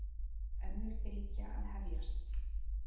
Önnur bylgja að hefjast